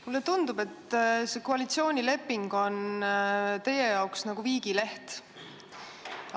Mulle tundub, et see koalitsioonileping on teie jaoks nagu viigileht.